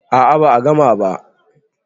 a a ba a gama ba